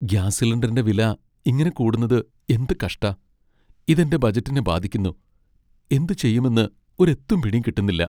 Gas സിലിണ്ടറിന്റെ വില ഇങ്ങനെ കൂടുന്നത് എന്ത് കഷ്ടാ. ഇത് എന്റെ ബജറ്റിനെ ബാധിക്കുന്നു, എന്ത് ചെയ്യുമെന്ന് ഒരെത്തും പിടീം കിട്ടുന്നില്ല.